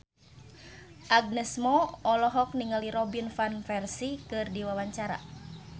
Agnes Mo olohok ningali Robin Van Persie keur diwawancara